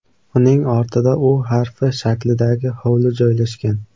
Uning ortida U harfi shaklidagi hovli joylashgan.